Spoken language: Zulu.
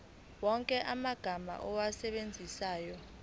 wonke amagama owasebenzisayo